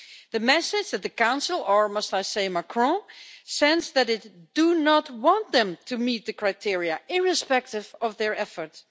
The message that the Council or should I say, Macron sends is that it does not want them to meet the criteria, irrespective of their efforts.